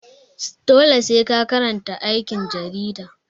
Dole sai ka karanta aikin jarida.